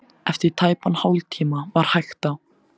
Eftir tæpan hálftíma var hægt á.